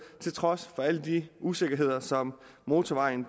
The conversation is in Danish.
til trods for alle de usikkerheder som motorvejen